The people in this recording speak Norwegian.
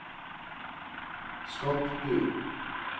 Skotbu